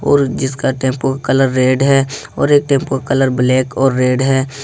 और जिसका टेम्पो का कलर रेड है और एक टेम्पो कलर ब्लैक और रेड है।